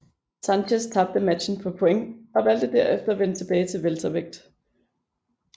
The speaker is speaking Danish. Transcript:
Sanchez tabte matchen på point og valgte derefter at vende tilbage i weltervægt